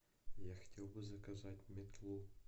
я хотел бы заказать метлу